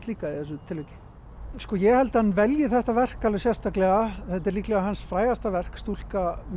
líka í þessu tilviki ég held að hann velji þetta verk alveg sérstaklega þetta er líklega hans frægasta verk stúlka með